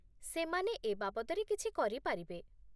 ସେମାନେ ଏ ବାବଦରେ କିଛି କରିପାରିବେ ।